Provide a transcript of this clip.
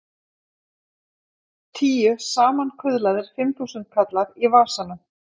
Tíu samankuðlaðir fimmþúsundkallar í vasanum!